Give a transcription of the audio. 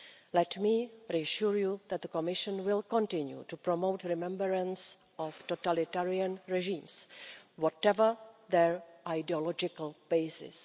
Let me reassure you that the Commission will continue to promote remembrance of totalitarian regimes, whatever their ideological basis.